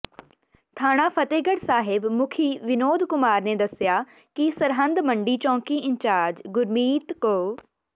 ਥਾਣਾ ਫ਼ਤਹਿਗੜ੍ਹ ਸਾਹਿਬ ਮੁਖੀ ਵਿਨੋਦ ਕੁਮਾਰ ਨੇ ਦੱਸਿਆ ਕਿ ਸਰਹਿੰਦ ਮੰਡੀ ਚੌਂਕੀ ਇੰਚਾਰਜ਼ ਗੁਰਮੀਤ ਕੁ